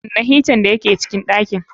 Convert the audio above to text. Kunna hitan da ya ke cikin ɗakin.